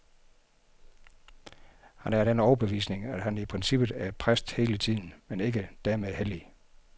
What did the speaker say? Han er af den overbevisning, at han i princippet er præst hele tiden, men ikke dermed hellig.